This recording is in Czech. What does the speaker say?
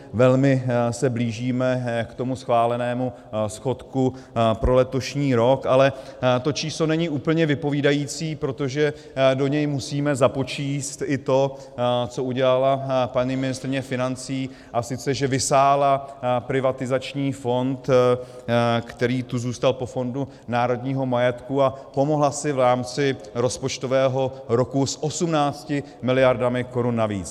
Velmi se blížíme k tomu schválenému schodku pro letošní rok, ale to číslo není úplně vypovídající, protože do něj musíme započíst i to, co udělala paní ministryně financí, a sice že vysála privatizační fond, který tu zůstal po Fondu národního majetku, a pomohla si v rámci rozpočtového roku s 18 miliardami korun navíc.